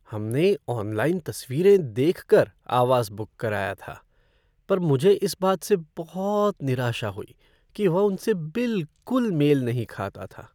हमने ऑनलाइन तस्वीरें देख कर आवास बुक कराया था पर मुझे इस बात से बहुत निराशा हुई कि वह उनसे बिलकुल मेल नहीं खाता था।